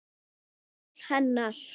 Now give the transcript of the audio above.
Ummál hennar